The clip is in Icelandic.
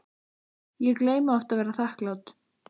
Ég gleymi oft að vera þakklát